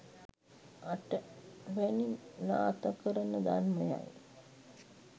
අටවැනි නාථකරණ ධර්මයයි.